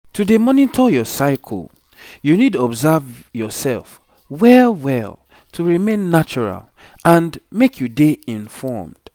to dey monitor your cycle you need observe yourself well well to remain natural and make you dey informed